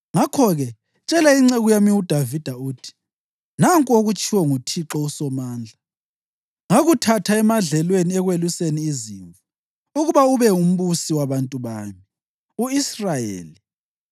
Ngakho-ke, tshela inceku yami uDavida uthi, ‘Nanku okutshiwo nguThixo uSomandla: Ngakuthatha emadlelweni ekweluseni izimvu, ukuba ube ngumbusi wabantu bami u-Israyeli.